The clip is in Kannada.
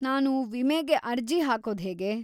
ನಾನು ವಿಮೆಗೆ ಅರ್ಜಿ ಹಾಕೋದ್ಹೇಗೆ?